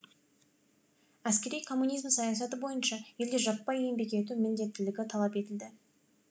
әскери коммунизм саясаты бойынша елде жаппай еңбек ету міңдеттілігі талап етілді